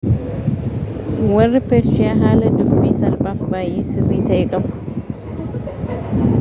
warri peershiyaa haala dubbii salphaafi baayyee sirrii ta'e qabu